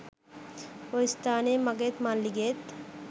ඔය ස්‌ථානයේ මගේත් මල්ලිගේත්